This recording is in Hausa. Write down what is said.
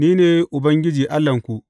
Ni ne Ubangiji Allahnku.